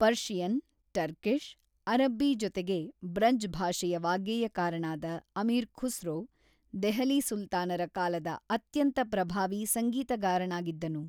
Persian, Turkish, ಅರಬ್ಬಿ ಜೊತೆಗೆ ಬ್ರಜ್ ಭಾಷೆಯ ವಾಗ್ಗೇಯಕಾರನಾದ ಅಮೀರ್ ಖುಸ್ರೋ, ದೆಹಲಿ ಸುಲ್ತಾನರ ಕಾಲದ ಅತ್ಯಂತ ಪ್ರಭಾವೀ ಸಂಗೀತಗಾರನಾಗಿದ್ದನು.